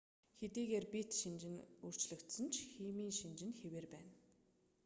хэдийгээр бит шинж нь өөршлөгдсөн ч химийн шинж нь хэвээр байна